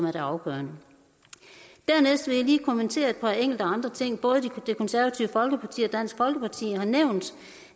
er det afgørende dernæst vil jeg lige kommentere et par enkelte andre ting både det konservative folkeparti og dansk folkeparti har nævnt